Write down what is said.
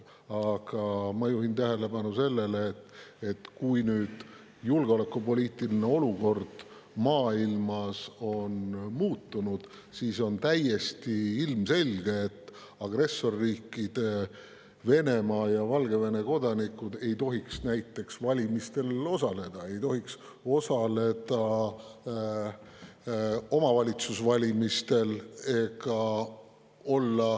Aga ma juhin tähelepanu sellele, et kui nüüd julgeolekupoliitiline olukord maailmas on muutunud, siis on täiesti ilmselge, et agressorriikide Venemaa ja Valgevene kodanikud ei tohiks näiteks valimistel osaleda, ei tohiks osaleda omavalitsuste valimistel.